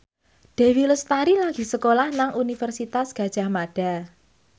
Dewi Lestari lagi sekolah nang Universitas Gadjah Mada